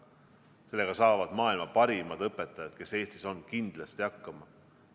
Sellega saavad maailma parimad õpetajad, kes Eestis on, kindlasti hakkama.